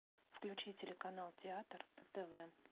включи телеканал театр на тв